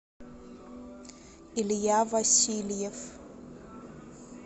илья васильев